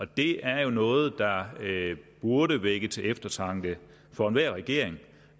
det er jo noget der burde vække til eftertanke for enhver regering